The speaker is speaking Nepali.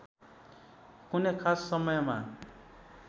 कुनै खास समयमा